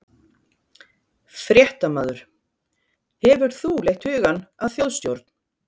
Fréttamaður: Hefur þú leitt hugann að þjóðstjórn?